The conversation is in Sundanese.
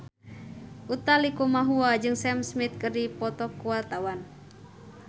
Utha Likumahua jeung Sam Smith keur dipoto ku wartawan